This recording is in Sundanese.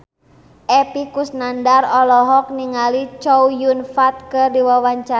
Epy Kusnandar olohok ningali Chow Yun Fat keur diwawancara